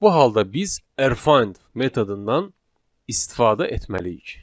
Bu halda biz rfind metodundan istifadə etməliyik.